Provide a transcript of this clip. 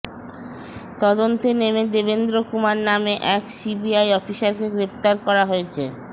তদন্তে নেমে দেবেন্দ্র কুমার নামে এক সিবিআই অফিসারকে গ্রেফতার করা হয়েছে